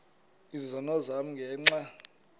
izono zam ngenxa